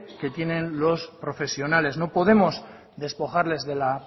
que tienen los profesionales no podemos despojarles de la